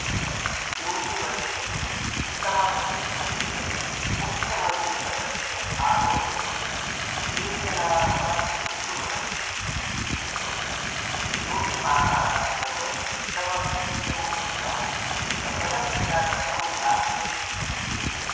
योगीवर्यस्य उत्तमप्रदेशस्य मुख्यमन्त्रिपदस्य आरोधने ये जनाः चीत्कुर्वन्ति ते बिभ्यति योगीमाहाराजः उत्तमप्रदेशम् एकं सफलप्रशासनं दास्यति इति